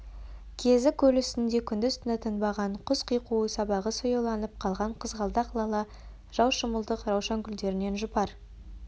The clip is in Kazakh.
кезі көл үстінде күндіз-түні тынбаған құс қиқуы сабағы сояуланып қалған қызғалдақ лала жаушымылдық раушан гүлдерінен жұпар